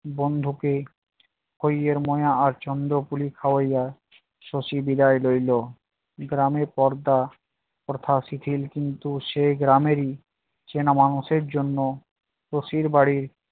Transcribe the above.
বন্ধুকে হৈ এর মনে আর্চন্দ কুলি খাওয়াইয়া শশী বিদায় লইলো। গ্রামে পর্দা প্রথা শিথিল কিন্তু সে গ্রামেরই চেনা মানুষের জন্য শশীর বাড়ির